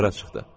Qara çıxdı.